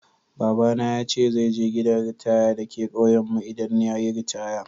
Baba na ya ce zai je gidan ritaya dake kauyen mu idan yayi ritaya.